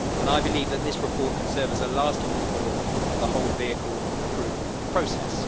I believe that this report can serve as a lasting reform of the whole vehicle approval process.